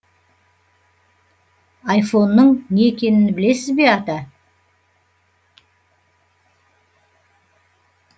айфонның не екенін білесіз бе ата